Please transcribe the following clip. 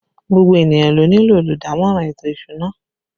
Gbogbo ènìyàn ló nílò olùdámọ̀ràn ètò ìsúná